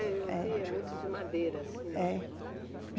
Eu. É. Via muito de madeira, assim. É.